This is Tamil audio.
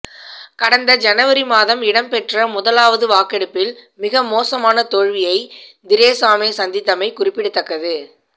கடந்த ஜனவரிமாதம் இடம்பெற்ற முதலாவது வாக்கெடுப்பில் மிகமோசமான தோல்வியை திரேசாமே சந்தித்தமை குறிப்பிடத்தக்கது